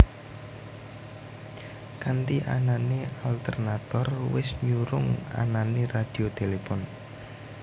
Kanti anane alternator wis nyurung anane radio telepon